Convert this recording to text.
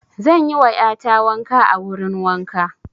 Zan yi wa ƴa ta wanka a wurin wanka.